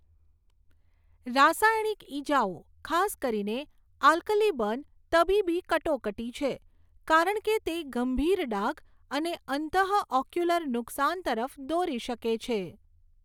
રાસાયણિક ઇજાઓ, ખાસ કરીને આલ્કલી બર્ન, તબીબી કટોકટી છે, કારણ કે તે ગંભીર ડાઘ અને અંતઃઓક્યુલર નુકસાન તરફ દોરી શકે છે.